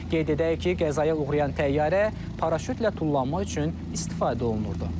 Qeyd edək ki, qəzaya uğrayan təyyarə paraşütlə tullanma üçün istifadə olunurdu.